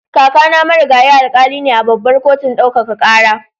Kakana Marigayi Alkali ne a Babbar Kotun Ɗaukaka Kara.